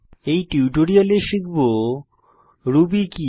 এই টিউটোরিয়ালে শিখব রুবি কি